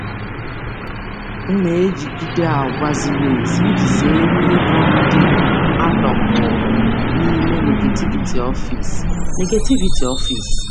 Ana m m anọgide n'àgwà dị mma iji zere ịbanye n'ezighị ezi ụlọ ọrụ.